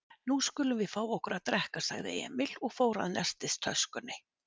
Nú skulum við fá okkur að drekka, sagði Emil og fór að nestistöskunni.